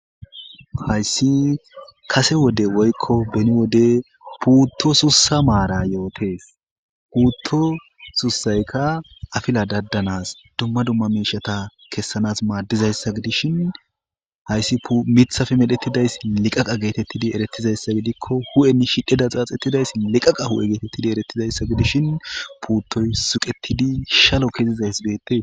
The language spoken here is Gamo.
hayssi kase wode woykko beni wode puutto sussa maara yootees puutto susayka afila daddanas dumma dumma miishata kessanas maaddizayssa gidishin hayssi mithafe medhetidayssi liqaqa geetettidi eretizayssa gidikko hu7eni shidheda xaaxettidayssi liqaqa hu7e geetettidi erettizayssa gidishin puuttoy suqettidi shalo kezizays beette